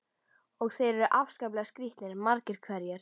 Og þeir eru afskaplega skrítnir, margir hverjir.